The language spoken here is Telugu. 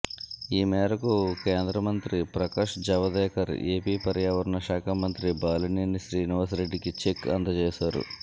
ఈమేర కేంద్రమంత్రి ప్రకాష్ జేవదేకర్ ఏపీ పర్యావరణ శాఖ మంత్రి బాలినేని శ్రీనివాస్ రెడ్డికి చెక్ అందజేశారు